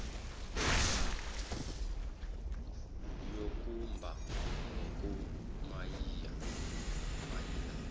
yokumba ngoku mayina